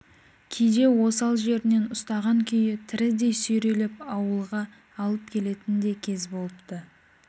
кейде сол осал жерінен ұстаған күйі тірідей сүйрелеп ауылға алып келетін де кез болыпты